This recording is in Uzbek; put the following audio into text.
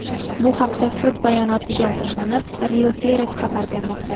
Bu haqda sud bayonotiga asoslanib, Reuters xabar bermoqda .